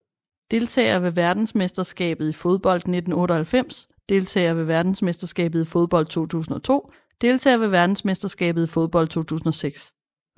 Deltagere ved verdensmesterskabet i fodbold 1998 Deltagere ved verdensmesterskabet i fodbold 2002 Deltagere ved verdensmesterskabet i fodbold 2006